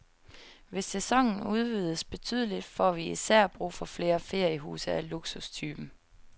Hvis sæsonen udvides betydeligt, får vi især brug for flere feriehuse af luksustypen.